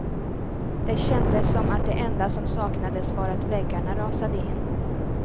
Det kändes som att det enda som saknades var att väggarna rasade in.